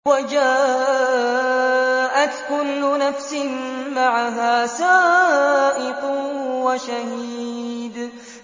وَجَاءَتْ كُلُّ نَفْسٍ مَّعَهَا سَائِقٌ وَشَهِيدٌ